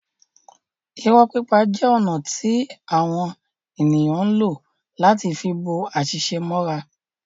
Irọ́ pipa jẹ ọ̀nà ti awọn eniyn ǹ lo láti fi bo àṣìṣe mọ́ra